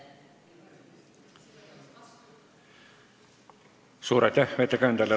Suur aitäh ettekandjale!